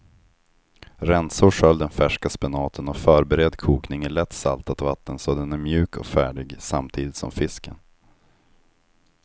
Rensa och skölj den färska spenaten och förbered kokning i lätt saltat vatten så att den är mjuk och färdig samtidigt som fisken.